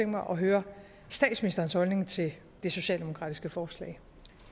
mig at høre statsministerens holdning til det socialdemokratiske forslag